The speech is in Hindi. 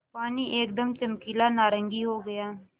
पानी एकदम चमकीला नारंगी हो गया